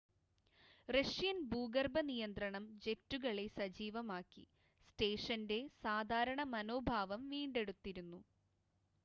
Russian ഭൂഗർഭ നിയന്ത്രണം ജെറ്റുകളെ സജീവമാക്കി സ്റ്റേഷൻ്റെ സാധാരണ മനോഭാവം വീണ്ടെടുത്തിരുന്നു